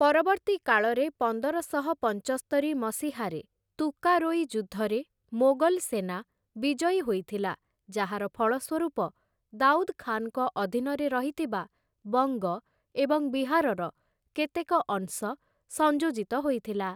ପରବର୍ତ୍ତୀ କାଳରେ ପନ୍ଦରଶହ ପଞ୍ଚସ୍ତରି ମସିହାରେ ତୁକାରୋଇ ଯୁଦ୍ଧରେ ମୋଗଲ୍‌ ସେନା ବିଜୟୀ ହୋଇଥିଲା, ଯାହାର ଫଳସ୍ୱରୂପ ଦାଉଦ୍‌ ଖାନ୍‌ଙ୍କ ଅଧୀନରେ ରହିଥିବା ବଙ୍ଗ ଏବଂ ବିହାରର କେତେକ ଅଂଶ ସଂଯୋଜିତ ହୋଇଥିଲା ।